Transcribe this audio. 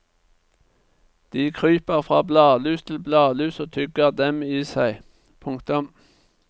De kryper fra bladlus til bladlus og tygger dem i seg. punktum